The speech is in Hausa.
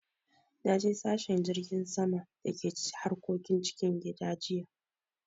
Naje sashen jirgin sama da ke harkokin cikin gida jiya.